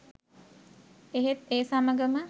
එහෙත් ඒ සමගම